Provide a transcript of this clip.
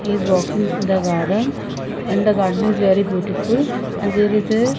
is walking in the garden and the garden is very beautiful and there is a --